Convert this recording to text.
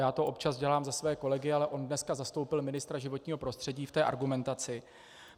Já to občas dělám za své kolegy, ale on dneska zastoupil ministra životního prostředí v té argumentaci.